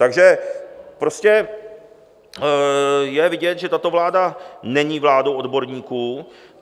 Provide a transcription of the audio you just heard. Takže prostě je vidět, že tato vláda není vládou odborníků.